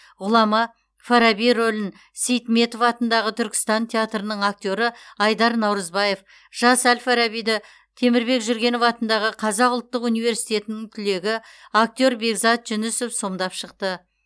ғұлама фараби рөлін сейтметов атындағы түркістан театрының актері айдар наурызбаев жас әл фарабиді темірбек жүргенов атындағы қазақ ұлттық өнер университетінің түлегі актер бекзат жүнісов сомдап шықты